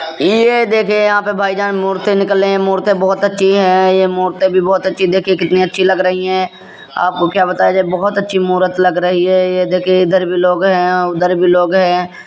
यह देखिये यहाँ पे भाईजान मूर्ति निकल लई है| मूर्ति बोहोत ही अच्छी है| ये मूर्ति भी बोहोत अच्छी देखिए कितनी अच्छी लग रही है | आपको क्या बताये बोहोत अच्छी मूरत लग रही है और ये देखिये इधर भी लोग हैं उधर भी लोग हैं।